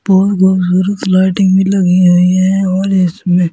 बहुत खूबसूरत लाइटिंग भी लगी हुई है और इसमें--